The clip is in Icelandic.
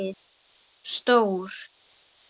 Stór